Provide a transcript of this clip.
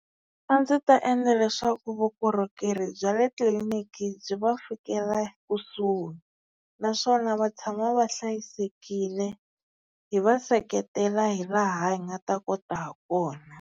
A ndzi ta endla leswaku vukorhokeri bya le tliliniki byi va fikela ekusuhi. Naswona va tshama va hlayisekile hi va seketela hi laha hi nga ta kota ha kona.